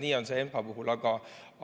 Nii on see ENPA puhul.